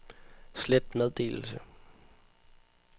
slet meddelelse